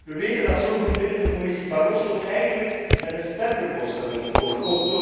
Wij weten dat sommigen binnen de Commissie Barroso eigenlijk met een sterker voorstel wilden komen.